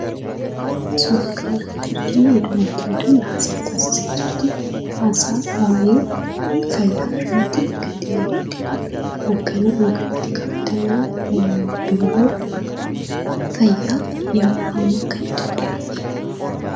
akkuma suuraa kanarratti arginuu dubartiin kun haasaa taasisaa jirti , haasaa waayee fayyaa irratti kan xiyyeeffatedhaa, hoogganaan yookiin itti gaafatamaan biiroo fayyaa yeroo ammaa kan itoopiyaa eenyudha?